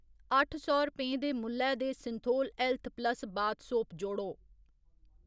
अट्ठ सौ रपें दे मुल्लै दे Cinthol health plus bath soap जोड़ो